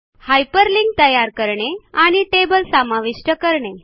hyperlink तयार करणे आणि टेबल समाविष्ट करणे